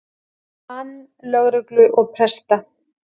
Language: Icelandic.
mann lögreglu og presta.